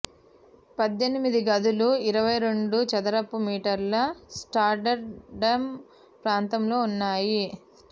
పద్దెనిమిది గదులు ఇరవై రెండు చదరపు మీటర్ల స్టాండర్డ్ ప్రాంతంలో ఉన్నాయి